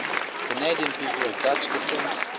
canadian people of dutch descent